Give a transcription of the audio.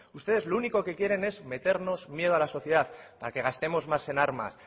ustedes lo único que quieren es meternos miedo a la sociedad para que gastemos más en armas